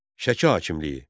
Şəki hakimliyidir.